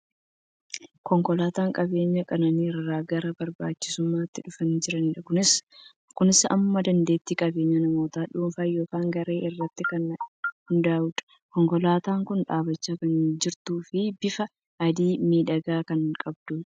Konkolaataan qabeenya qananii irraa gara barbaachisummaatti dhufaa jira. Kunis hamma dandeetti qabeenya namoota dhuunfaa yookiin garee irratti kan hundaa'udha. Konkolaataan kun dhaabachaa kan jirtuu fi bifa adii miidhagaa kan qabdudha.